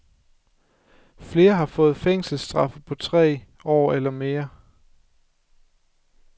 Flere har fået fængselsstraffe på tre år eller mere.